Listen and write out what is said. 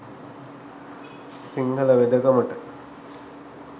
Sinhala වෙදකමට